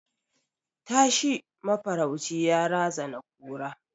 Tashi! mafaraucin ya razana kura